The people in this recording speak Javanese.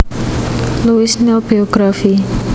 Louis Néel Biography